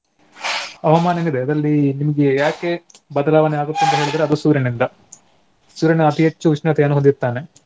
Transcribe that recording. ಹವಾಮಾನ ಏನಿದೆ ಅದ್ರಲ್ಲಿ ನಿಮ್ಗೆ ಯಾಕೆ ಬದಲಾವಣೆ ಆಗುತ್ತದೆ ಅಂತ ಹೇಳಿದ್ರೆ ಅದು ಸೂರ್ಯನಿಂದ. ಸೂರ್ಯನ ಅತೀ ಹೆಚ್ಚು ಉಷ್ಣತೆಯನ್ನು ಹೊಂದಿರುತ್ತಾನೆ.